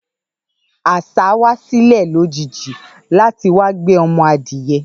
Àṣa wa silẹ lojiji lati wa gbé ọmọ adìyẹ